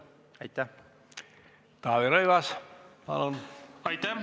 Aitäh!